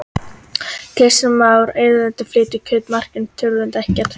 Kristján Már: Erfiðleikar við að flytja kjöt á markað, það truflar þetta ekkert?